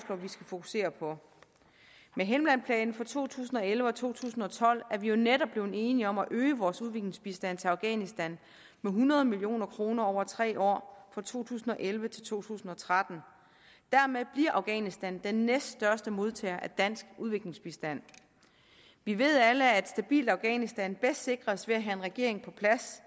at vi skal fokusere på med helmandplanen for to tusind og elleve og to tusind og tolv er vi netop blevet enige om at øge vores udviklingsbistand til afghanistan med hundrede million kroner over tre år fra to tusind og elleve til to tusind og tretten dermed bliver afghanistan den næststørste modtager af dansk udviklingsbistand vi ved alle at et stabilt afghanistan bedst sikres ved at have en regering på plads